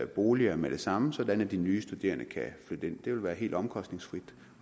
boliger med det samme sådan at de nye studerende kan flytte ind det vil være helt omkostningsfrit